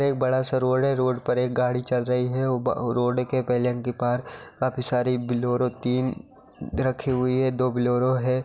एक बड़ा-सा रोड है| एक रोड पर एक गाड़ी चल रही है वो रोड के के पास काफी सारी बोलेरो तीन रखी हुई है दो बोलेरो है।